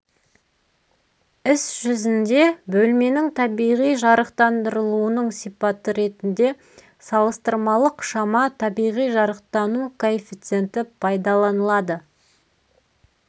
іс жүзінде бөлменің табиғи жарықтандырылуының сипаты ретінде салыстырмалық шама табиғи жарықтану коэффициенті пайдаланылады